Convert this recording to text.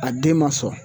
A den ma sɔn